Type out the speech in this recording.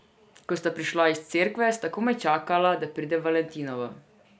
Ko sta prišla iz cerkve, sta komaj čakala, da pride valentinovo.